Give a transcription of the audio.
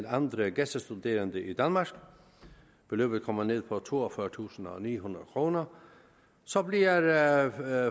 andre gæstestuderende i danmark beløbet kommer ned på toogfyrretusinde og nihundrede kroner så bliver